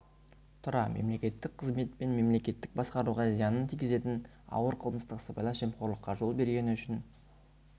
тұра мемлекеттік қызмет пен мемлекеттік басқаруға зиянын тигізетін ауыр қылмыстық сыбайлас жемқорлыққа жол бергені үшін